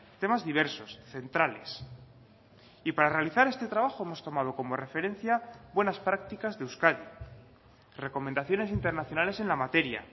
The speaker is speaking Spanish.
temas diversos centrales y para realizar este trabajo hemos tomado como referencia buenas prácticas de euskadi recomendaciones internacionales en la materia